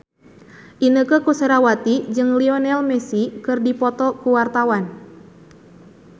Inneke Koesherawati jeung Lionel Messi keur dipoto ku wartawan